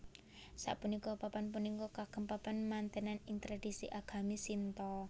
Sapunika papan punika kagem papan mantènan ing tradisi agami Shinto